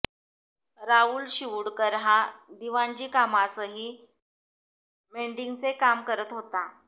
राहुल शिवूडकर हा दिवाणजी कामासही मेंडिंगचे काम करत होता